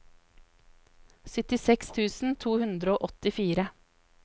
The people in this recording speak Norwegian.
syttiseks tusen to hundre og åttifire